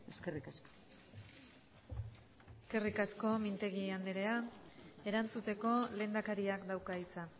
eskerrik asko eskerrik asko mintegi anderea erantzuteko lehendakariak dauka hitza